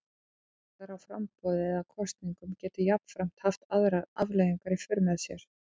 Ágallar á framboði eða kosningum geta jafnframt haft aðrar afleiðingar í för með sér.